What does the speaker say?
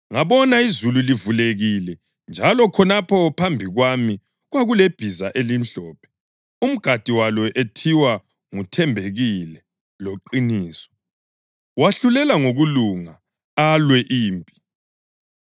Ngabona izulu livulekile njalo khonapho phambi kwami kwakulebhiza elimhlophe, umgadi walo ethiwa nguThembekile loQiniso. Wahlulela ngokulunga alwe impi.